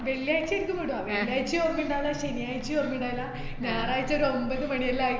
വെള്ളിയാഴ്ചേക്കുമുണ്ടോ അങ്ങനെ, വെള്ളിയാഴ്ചേം ഓര്‍മ്മേണ്ടായീല്ല, ശനിയാച്ചേ ഓര്‍മ്മണ്ടായില്ല, ഞായറാഴ്ച ഒരു ഒരൊമ്പത്‌ മണിയെല്ലാം